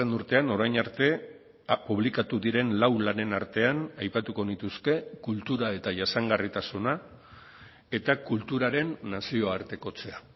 urtean orain arte publikatu diren lau lanen artean aipatuko nituzke kultura eta jasangarritasuna eta kulturaren nazioartekotzea